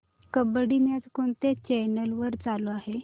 kabaddi match कोणत्या channel वर चालू आहे